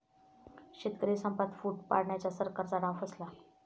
शेतकरी संपात फूट पाडण्याचा सरकारचा डाव फसला